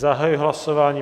Zahajuji hlasování.